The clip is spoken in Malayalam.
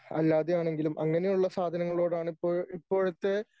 അല്ലാതെയാണെങ്കിലും അങ്ങനെയുള്ള സാധനങ്ങളോടാണ് ഇപ്പോൾ ഇപ്പോഴത്തെ